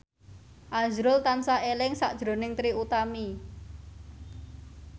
azrul tansah eling sakjroning Trie Utami